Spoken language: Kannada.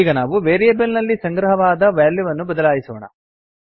ಈಗ ನಾವು ವೇರಿಯೇಬಲ್ ನಲ್ಲಿ ಸಂಗ್ರಹವಾದ ವ್ಯಾಲ್ಯೂವನ್ನು ಬದಲಿಸೋಣ